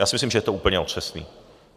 Já si myslím, že je to úplně otřesný.